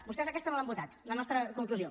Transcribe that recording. vostès aquesta no l’han votat la nostra conclusió